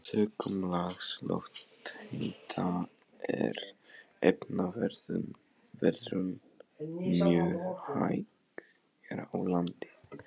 Sökum lágs lofthita er efnaveðrun mjög hæg hér á landi.